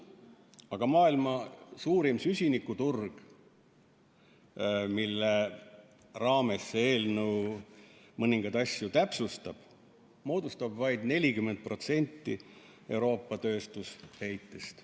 Aga maailma suurim süsinikuturg, mille raames see eelnõu mõningaid asju täpsustab, moodustab vaid 40% Euroopa tööstusheitest.